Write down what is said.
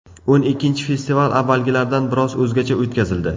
O‘n ikkinchi festival avvalgilardan biroz o‘zgacha o‘tkazildi.